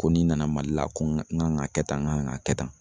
Ko n'i nana mali la ko n gan ga kɛ tan n gan ag kɛ tan